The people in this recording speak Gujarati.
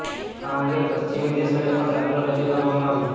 આ અંગે પશ્ચિમી દેશોનો પણ દાખલો રજૂ કરવામાં આવ્યો